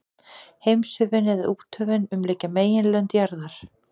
Heimshöfin, eða úthöfin, umlykja meginlönd jarðar.